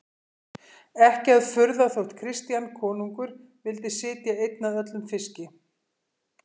Ekki að furða þótt Christian konungur vildi sitja einn að öllum fiski.